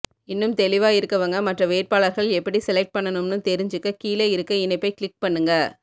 இன்னும் தெளிவா இருக்கவங்க மற்ற வேட்பாளர்கள் எப்படி செலக்ட் பண்ணும்னு தெரிஞ்சுக்க கீழே இருக்க இணைப்பை கிளிக் பண்ணுங்க